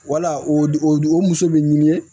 Wala o o muso bɛ ɲini ye